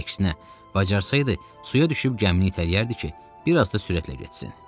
Əksinə, bacarsaydı, suya düşüb gəmini itələyərdi ki, bir az da sürətlə getsin.